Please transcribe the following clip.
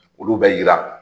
Olu bɛ yira